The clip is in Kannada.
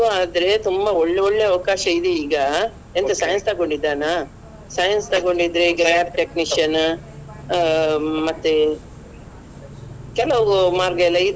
PU ಆದ್ರೆ ತುಂಬ ಒಳ್ಳೊಳ್ಳೆ ಅವಕಾಶ ಇದೆ ಈಗ ಎಂತ Science ತೊಗೊಂಡಿದ್ದಾನಾ Science ತೊಗೊಂಡಿದ್ರೆ ಈಗ lab technician ಹ್ಮ್‌ ಮತ್ತೆ ಕೆಲವು ಮಾರ್ಗ ಎಲ್ಲ ಇದೆ.